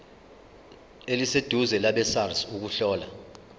eliseduze labesars ukuhlola